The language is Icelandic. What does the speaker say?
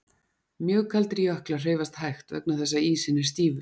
Mjög kaldir jöklar hreyfast hægt vegna þess að ísinn er stífur.